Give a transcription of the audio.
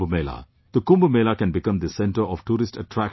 The Kumbh Mela can become the centre of tourist attraction as well